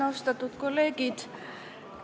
Austatud kolleegid!